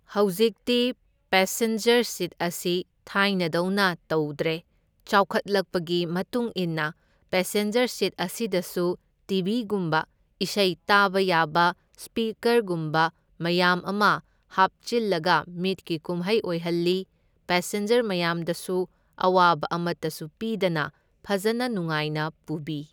ꯍꯧꯖꯤꯛꯇꯤ passenger seat ꯑꯁꯤ ꯊꯥꯏꯅꯗꯧꯅ ꯇꯧꯗ꯭ꯔꯦ, ꯆꯥꯎꯈꯠꯂꯛꯄꯒꯤ ꯃꯇꯨꯡ ꯏꯟꯅ ꯄꯦꯁꯦꯟꯖꯔ ꯁꯤꯠ ꯑꯁꯤꯗꯁꯨ ꯇꯤꯕꯤꯒꯨꯝꯕ ꯏꯁꯩ ꯇꯥꯕ ꯌꯥꯕ ꯁ꯭ꯄꯤꯀꯔꯒꯨꯝꯕ ꯃꯌꯥꯝ ꯑꯃ ꯍꯥꯞꯆꯤꯜꯂꯒ ꯃꯤꯠꯀꯤ ꯀꯨꯝꯍꯩ ꯑꯣꯏꯍꯜꯂꯤ, ꯄꯦꯁꯦꯟꯖꯔ ꯃꯌꯥꯝꯗꯁꯨ ꯑꯋꯥꯕ ꯑꯃꯇꯁꯨ ꯄꯤꯗꯅ ꯐꯖꯅ ꯅꯨꯡꯉꯥꯏꯅ ꯄꯨꯕꯤ꯫